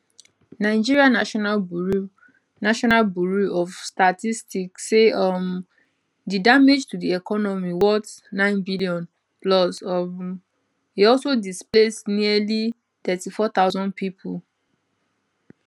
nigeria national bureau national bureau of statistics say um di damage to di economy worth 9b plus um e also displace nearly 34000 pipo